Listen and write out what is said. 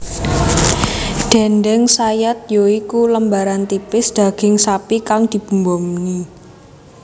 Déndéng sayat ya iku lembaran tipis daging sapi kang dibumboni